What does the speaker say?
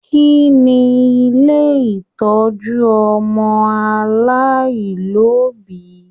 Kínní ilé ìtọjú ọmọ aláìlobi?